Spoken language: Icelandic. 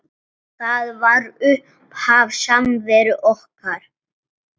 Það var upphaf samveru okkar.